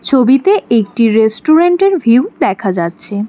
ছবিতে একটি রেস্টুরেন্টের ভিউ দেখা যাচ্ছে।